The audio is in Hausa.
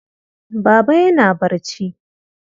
Baba yana barci.